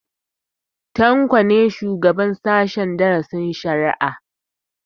Tanko ne shugaban sahen darasin shari'a